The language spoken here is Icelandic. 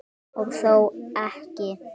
Og þó ekki!